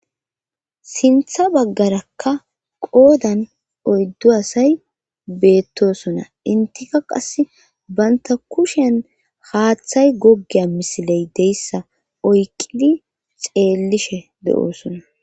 sintha baggarakka qoodan oyddu asay beettosona intika qas banta kushen haaththay goggeya misiley deyssa oyqidi xeellishe de7oosona